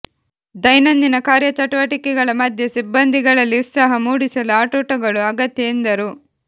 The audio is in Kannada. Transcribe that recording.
ದೈನಂದಿನ ಕಾರ್ಯಚಟುವಟಿಕೆಗಳ ಮಧ್ಯೆ ಸಿಬ್ಬಂದಿಗಳಲ್ಲಿ ಉತ್ಸಾಹ ಮೂಡಿಸಲು ಆಟೋಟಗಳು ಅಗತ್ಯ ಎಂದರು